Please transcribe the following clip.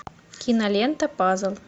кинолента пазл